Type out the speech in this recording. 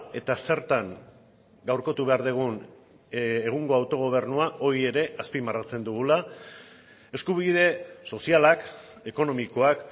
eta zertan gaurkotu behar dugun egungo autogobernua hori ere azpimarratzen dugula eskubide sozialak ekonomikoak